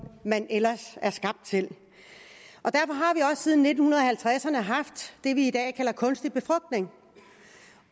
man ellers er skabt til og siden nitten halvtredserne haft det vi i dag kalder kunstig befrugtning